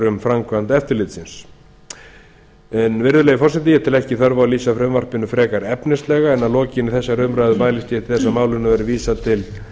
um framkvæmd eftirlitsins hæstvirtur forseti ég tel ekki þörf á að lýsa frumvarpinu frekar efnislega en að lokinni þessari umræðu mælist ég til þess að málinu verði vísað til